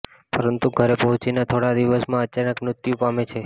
પરંતુ ઘરે પહોંચીને થોડા દિવસમાં અચાનક મૃત્યુ પામે છે